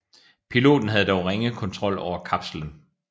Piloten havde dog ringe kontrol over kapslen